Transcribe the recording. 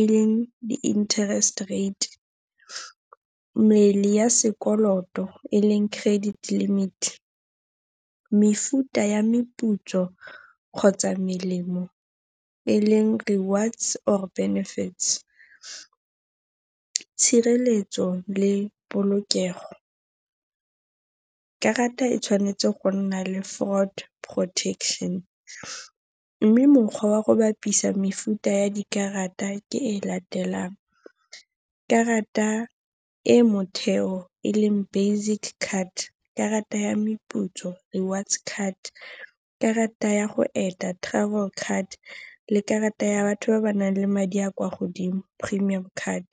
e leng di-interest rate, mmele ya sekoloto e leng credit limit, mefuta ya meputso kgotsa melemo e leng rewards or benefits, tshireletso le polokego. Karata e tshwanetse go nna le fraud protection. Mme mokgwa wa go bapisa mefuta ya dikarata ke e latelang. Karata e motheo e leng basic card, karata ya meputso rewards card, karata ya go eta travel card, le karata ya batho ba ba nang le madi a kwa godimo premium card.